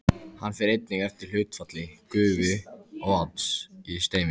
Hann fer einnig eftir hlutfalli gufu og vatns í streyminu.